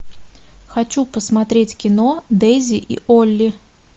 хочу посмотреть кино дейзи и олли